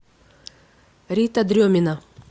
рита дремина